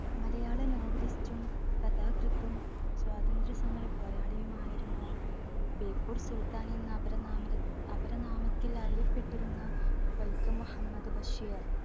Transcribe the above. മലയാള novelist ഉം കഥാകൃത്തും സ്വാതന്ത്ര്യ സമര പോരാളിയുമായിരുന്ന ബേപ്പൂർ സുൽത്താൻ എന്ന അപര നാമര അപരനാമത്തിൽ അറിയപ്പെട്ടിരുന്ന വൈക്കം മുഹമ്മദ് ബഷീർ